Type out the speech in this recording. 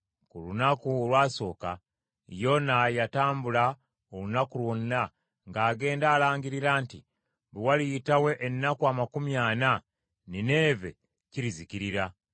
Ku lunaku olwasooka Yona yatambula olunaku lwonna ng’agenda alangirira nti, “Bwe waliyitawo ennaku amakumi ana, Nineeve kirizikirira.”